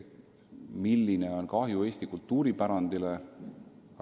Milline on kahju Eesti kultuuripärandile?